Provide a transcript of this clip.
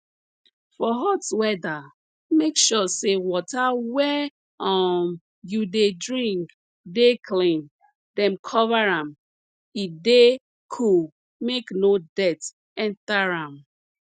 for hot weather make sure say water wey um you dey drink dey clean dem cover am e dey cool make no dirt enter am